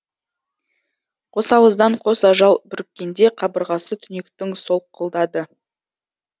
қосауыздан қос ажал бүріккенде қабырғасы түнектің солқылдады